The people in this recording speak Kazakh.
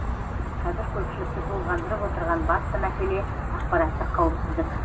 қазір көпшілікті толғандырып отырған басты мәселе ақпараттық қауіпсіздік